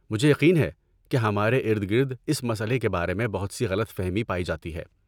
مجھے یقین ہے کہ ہمارے ارد گرد اس مسئلے کے بارے میں بہت سی غلط فہمی پائی جاتی ہے۔